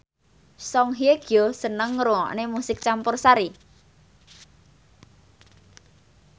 Song Hye Kyo seneng ngrungokne musik campursari